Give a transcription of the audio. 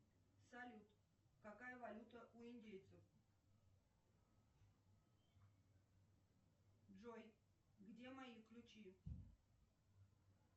салют какая валюта у индейцев джой где мои ключи